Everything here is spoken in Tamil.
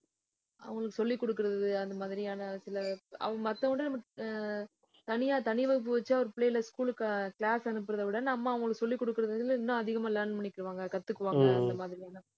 அவங்களுக்கு சொல்லிக் கொடுக்கிறது, அந்த மாதிரியான சில மத்தவங்க அஹ் தனியா தனி வகுப்பு வச்சு, அவர் பிள்ளைகள school க்கு class அனுப்புறதை விட, நம்ம அவங்களுக்கு சொல்லிக் கொடுக்கிறது வந்து, இன்னும் அதிகமா learn பண்ணிக்குவாங்க கத்துக்குவாங்க. இந்த மாதிரியான